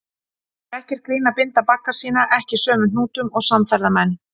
Það er ekkert grín að binda bagga sína ekki sömu hnútum og samferðamenn.